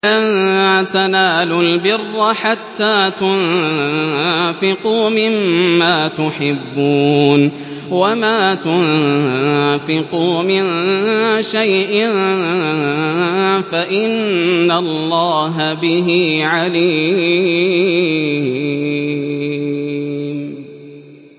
لَن تَنَالُوا الْبِرَّ حَتَّىٰ تُنفِقُوا مِمَّا تُحِبُّونَ ۚ وَمَا تُنفِقُوا مِن شَيْءٍ فَإِنَّ اللَّهَ بِهِ عَلِيمٌ